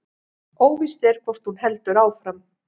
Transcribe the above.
Óvíst er hvort hún heldur áfram